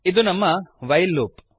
ಇದು ನಮ್ಮ while loop